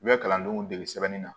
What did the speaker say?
U bɛ kalandenw degi sɛbɛnni na